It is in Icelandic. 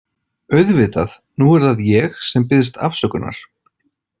Auðvitað, nú er það ég sem biðst afsökunar.